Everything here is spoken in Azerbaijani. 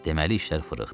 Deməli işlər fırıxdı.